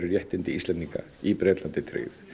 réttindi Íslendinga í Bretlandi tryggð